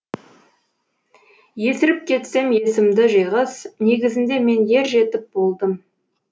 есіріп кетсем есімді жиғыз негізінде мен ер жетіп болдым